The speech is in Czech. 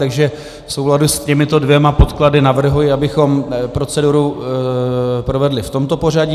Takže v souladu s těmito dvěma podklady navrhuji, abychom proceduru provedli v tomto pořadí.